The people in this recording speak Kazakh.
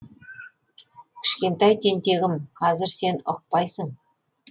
кішкентай тентегім қазір сен ұқпайсың